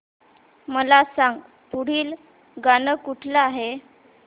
मला सांग पुढील गाणं कुठलं आहे